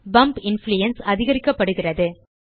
pump influence அதிகரிக்கப்படுகிறது